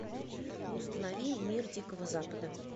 установи мир дикого запада